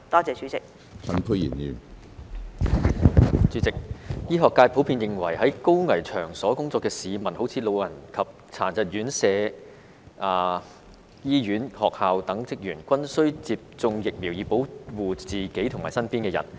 主席，醫學界普遍認為在高危場所工作的市民，例如安老及殘疾人士院舍、醫院及學校等的職員，均須接種疫苗以保護自己及身邊的人。